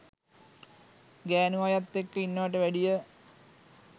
ගෑණු අයත් එක්ක ඉන්නවට වැඩිය